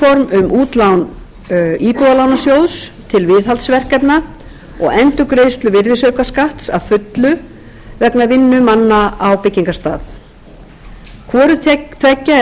um útlán íbúðalánasjóðs til viðhaldsverkefna og endurgreiðslu virðisaukaskatts að fullu vegna vinnu manna á byggingarstað hvoru tveggja er